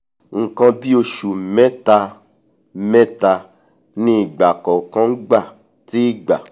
nkan bíì ọsù mẹ́ta-mẹ́ta ni ìgbà kọ̀ọ̀kan ngbà tí ìgbà